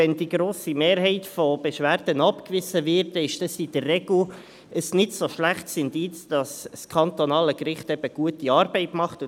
Wenn die grosse Mehrheit der Beschwerden abgewiesen wird, ist dies in der Regel kein so schlechtes Indiz dafür, dass das kantonale Gericht gute Arbeit leistet.